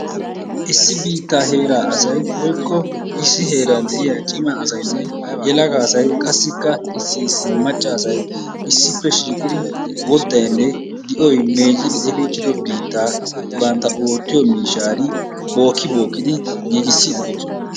Issi biittaa heeraa asay woykko issi heeran de'iya cimma asaynne yelaga asay qassikka issi issi macca asay issippe shiiqqidi woddaynne di"oy meeccidi efiichchiddo biittaa bantta oottiyo miishshaan bookki bookkidi giiggissidi de'oosona.